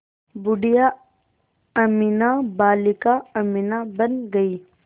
बूढ़िया अमीना बालिका अमीना बन गईं